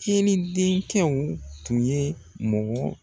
Ceri denkɛw tun ye mɔgɔ